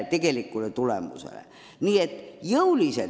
Tegelikud tulemused on olnud teisejärgulised.